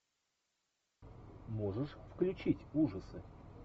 можешь включить ужасы